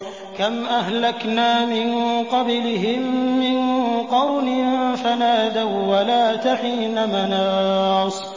كَمْ أَهْلَكْنَا مِن قَبْلِهِم مِّن قَرْنٍ فَنَادَوا وَّلَاتَ حِينَ مَنَاصٍ